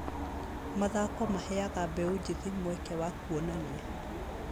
Mathako maheaga mbeũ njĩthĩ mweke wa kuonania.